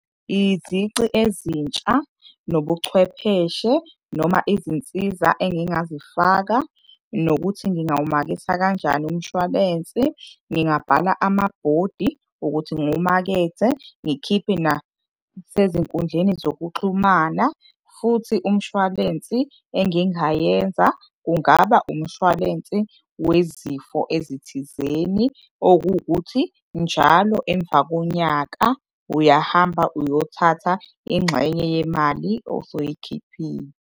Izici ezintsha nobuchwepheshe noma izinsiza engingazifaka nokuthi ngingawumaketha kanjani umshwalensi, ngingabhala amabhodi wokuthi ngiwumakethe, ngikhiphe nasezinkundleni zokuxhumana. Futhi umshwalensi engingayenza kungaba umshwalensi wezifo ezithizeni, okuwukuthi njalo emva konyaka uyahamba uyothatha ingxenye yemali osoyikhiphile.